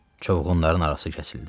Çovğunların arası kəsildi.